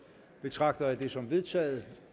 betragter jeg det som vedtaget